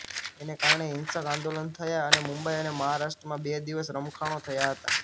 તેને કારણે હિંસક આંદોલન થયાં અને મુંબઈ અને મહારાષ્ટ્રમાં બે દિવસ રમખાણો થયાં હતાં